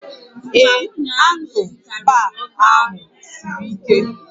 Ee, handụlbaa ahụ siri ike